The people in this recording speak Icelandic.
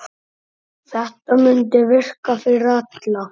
Þetta mundi virka fyrir alla.